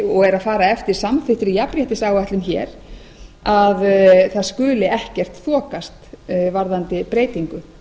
og er að fara eftir samþykktri jafnréttisáætlun hér að það skuli ekkert þokast varðandi breytingu